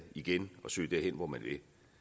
igen og søge derhen hvor man vil